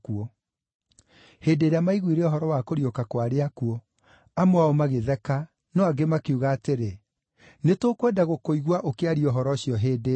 Hĩndĩ ĩrĩa maiguire ũhoro wa kũriũka kwa arĩa akuũ, amwe ao magĩtheka, no angĩ makiuga atĩrĩ, “Nĩtũkwenda gũkũigua ũkĩaria ũhoro ũcio hĩndĩ ĩngĩ.”